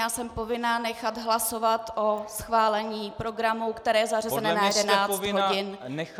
Já jsem povinna nechat hlasovat o schválení programu, které je zařazeno na 11 hodin.